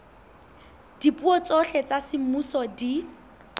dipuo tsohle tsa semmuso di